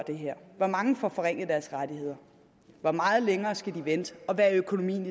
hvor mange der får forringet deres rettigheder og hvor meget længere de skal vente og hvad økonomien